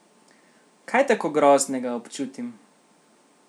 Kaj tako groznega občutim?